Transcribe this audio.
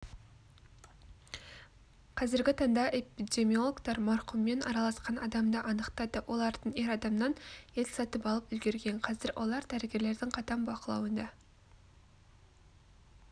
қазіргі таңда эпидемиологтар марқұммен араласқан адамды анықтады олардың ер адамнан ет сатып алып үлгерген қазір олар дәрігерлердің қатаң бақылауында